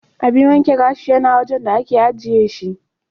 Abin wanke gashi yana wajan da ake ajiye shi.